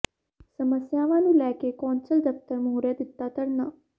ਸਮੱਸਿਆਵਾਂ ਨੂੰ ਲੈ ਕੇ ਕੌਂਸਲ ਦਫ਼ਤਰ ਮੂਹਰੇ ਦਿੱਤਾ ਧਰਨਾ